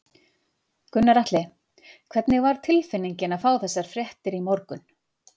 Gunnar Atli: Hvernig var tilfinningin að fá þessar fréttir í morgun?